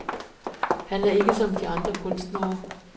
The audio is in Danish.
Han er ikke som andre kunstnere.